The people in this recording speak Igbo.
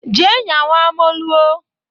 Jee nyawa moluo!